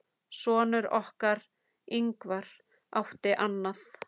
Sonur okkar, Ingvar, átti annað.